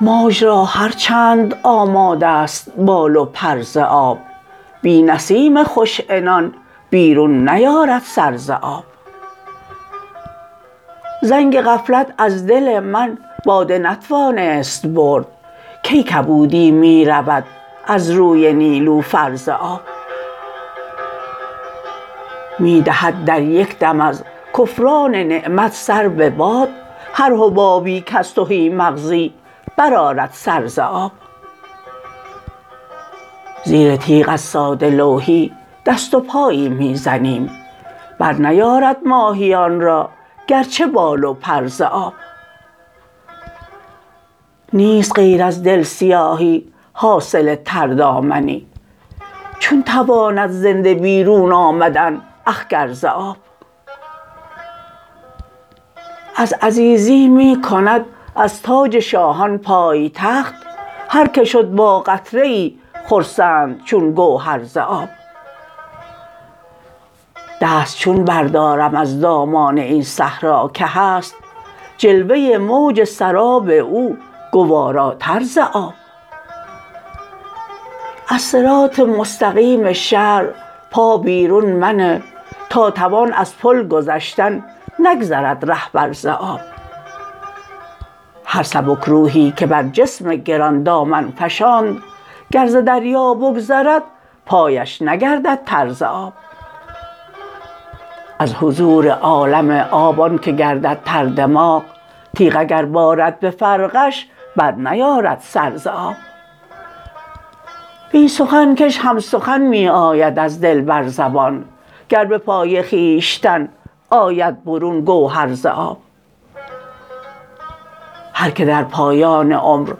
موج را هر چند آماده است بال و پر ز آب بی نسیم خوش عنان بیرون نیارد سر ز آب زنگ غفلت از دل من باده نتوانست برد کی کبودی می رود از روی نیلوفر ز آب می دهد در یک دم از کفران نعمت سر به باد هر حبابی کز تهی مغزی برآرد سر ز آب زیر تیغ از ساده لوحی دست و پایی می زنیم برنیارد ماهیان را گرچه بال و پر ز آب نیست غیر از دل سیاهی حاصل تردامنی چون تواند زنده بیرون آمدن اخگر ز آب از عزیزی می کند از تاج شاهان پایتخت هر که شد با قطره ای خرسند چون گوهر ز آب دست چون بردارم از دامان این صحرا که هست جلوه موج سراب او گواراتر ز آب از صراط المستقیم شرع پا بیرون منه تا توان از پل گذشتن نگذرد رهبر ز آب هر سبکروحی که بر جسم گران دامن فشاند گر ز دریا بگذرد پایش نگردد تر ز آب از حضور عالم آب آن که گردد تردماغ تیغ اگر بارد به فرقش برنیارد سر ز آب بی سخن کش هم سخن می آید از دل بر زبان گر به پای خویشتن آید برون گوهر ز آب هر که در پایان عمر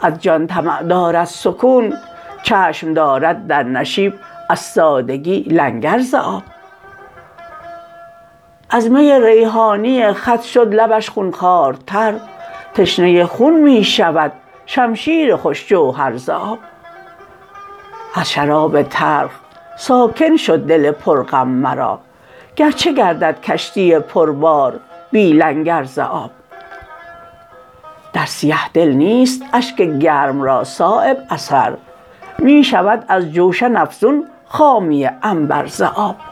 از جان طمع دارد سکون چشم دارد در نشیب از سادگی لنگر ز آب از می ریحانی خط شد لبش خونخوارتر تشنه خون می شود شمشیر خوش جوهر ز آب از شراب تلخ ساکن شد دل پر غم مرا گرچه گردد کشتی پر بار بی لنگر ز آب در سیه دل نیست اشک گرم را صایب اثر می شود از جوشن افزون خامی عنبر ز آب